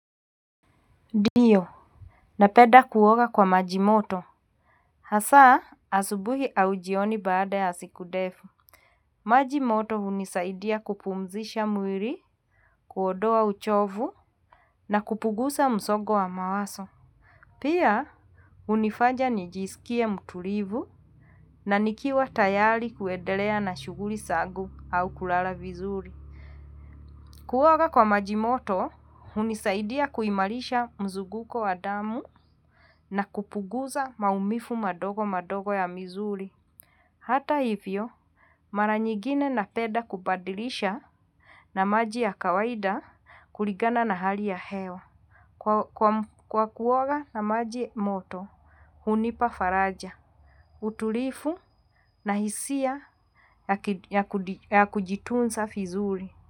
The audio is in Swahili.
Ndio napenda kuoga kwa maji moto. Hasa asubuhi au jioni baada ya siku ndefu. Maji moto hunisaidia kupumzisha mwili, kuondoa uchovu na kupunguza msongo wa mawazo. Pia hunifanya nijisikie mtulivu na nikiwa tayari kuendelea na shughuli zangu au kulala vizuri. Kuoga kwa maji moto, hunisaidia kuimarisha mzunguko wa damu na kupunguza maumivu madogo madogo ya misuli. Hata hivyo, mara nyingine napenda kubadilisha na maji ya kawaida kulingana na hali ya hewa. Kwa kuoga na maji moto, hunipa faraja, utulivu na hisia ya kujitunza vizuri.